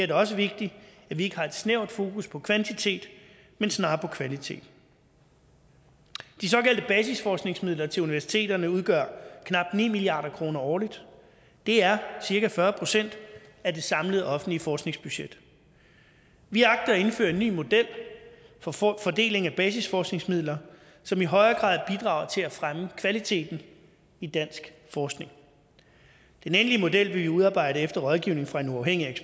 det også vigtigt at vi ikke har et snævert fokus på kvantitet men snarere på kvalitet de såkaldte basisforskningsmidler til universiteterne udgør knap ni milliard kroner årligt det er cirka fyrre procent af det samlede offentlige forskningsbudget vi agter at indføre en ny model for fordeling af basisforskningsmidler som i højere grad bidrager til at fremme kvaliteten i dansk forskning den endelige model vil vi udarbejde efter rådgivning fra en uafhængig